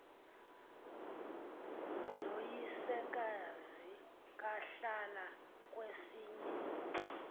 noyisekazi bahlala kwesinye